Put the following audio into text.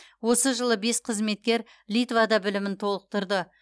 осы жылы бес қызметкер литвада білімін толықтырды